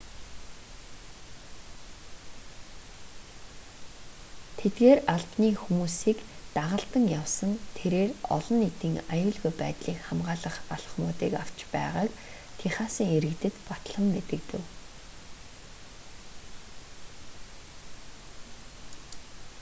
тэдгээр албаны хүмүүсийг дагалдан явсан тэрээр олон нийтийн аюулгүй байдлыг хамгаалах алхмуудыг авч байгааг техасын иргэдэд батлан мэдэгдэв